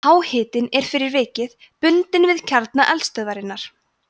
háhitinn er fyrir vikið bundinn við kjarna eldstöðvarinnar